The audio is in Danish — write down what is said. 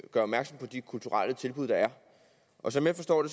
opmærksom på de kulturelle tilbud der er og som jeg forstår